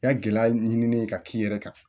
I ka gɛlɛya ɲini ka k'i yɛrɛ kan